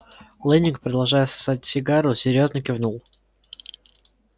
лэннинг продолжая сосать сигару серьёзно кивнул